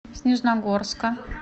снежногорска